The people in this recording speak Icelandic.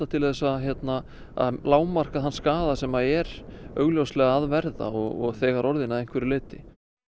til að lágmarka þann skaða sem er augljóslega að verða og þegar orðinn að einhverju leyti